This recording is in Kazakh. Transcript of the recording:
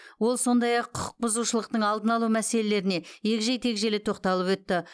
ол сондай ақ құқықбұзушылықтың алдын алу мәселелеріне егжей тегжейлі тоқталып өтті